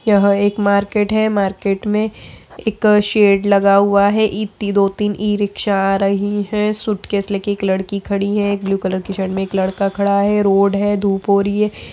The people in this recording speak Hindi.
यह एक मार्केट है मार्केट में इक शेड लगा हुआ है इप्ती दो तीन ईरिक्शा आ रही है सूटकेस लेकर इक लड़की खड़ी है एक ब्लू कलर की शर्ट में एक लड़का खड़ा है रोड है धुप हो रही है।